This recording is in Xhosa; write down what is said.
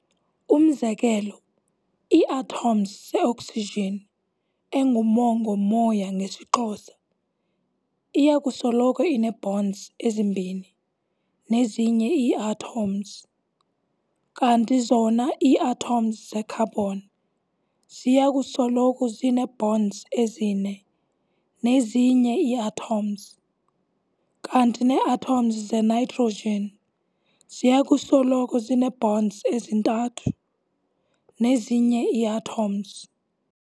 Umzekelo, ii-atoms ze-oxygen, engumongo-moya ngesiXhosa, iyakusoloko inee-bonds ezimbini nezinye ii-atoms, kanti zona ii-atoms ze-carbon ziyakusoloko zinee-bonds ezine nezinye ii-atoms, kanti nee-atoms ze-nitrogen ziyakusoloko zinee-bonds ezintathu nezinye ii-atoms.